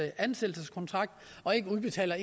ansættelseskontrakt og ikke udbetaler